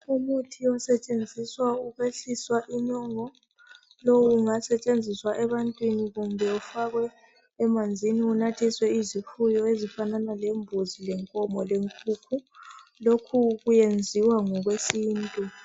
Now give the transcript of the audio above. Umuthi osetshenziswa ukwehliswa inyongo, lowu ungasetshenziswa ebantwini .Kumbe ufakwe emanzini unathiswe izifuyo ezifanana lembuzi ,lenkomo lenkukhu .Lokhu kuyenziwa ngokwesintu.